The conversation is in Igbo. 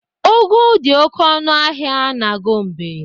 Ụgụ dị oke ọnụ n'ahịa Gombe.